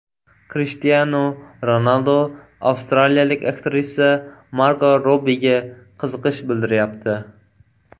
Krishtianu Ronaldu avstraliyalik aktrisa Margo Robbiga qiziqish bildiryapti.